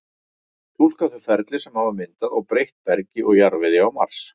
túlka þau ferli sem hafa myndað og breytt bergi og jarðvegi á mars